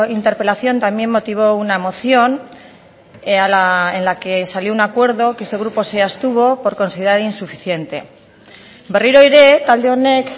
interpelación también motivó una moción en la que salió un acuerdo que este grupo se abstuvo por considerar insuficiente berriro ere talde honek